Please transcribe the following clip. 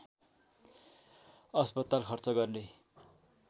अस्पताल खर्च गर्ने